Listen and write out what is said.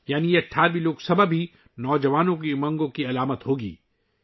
اس کا مطلب یہ ہے کہ یہ 18ویں لوک سبھا بھی نوجوانوں کی امنگوں کی علامت ہوگی